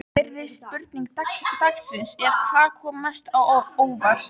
Fyrri spurning dagsins er: Hvað kom mest á óvart?